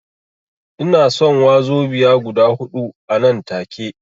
Ina son wazobiya guda huɗu anan take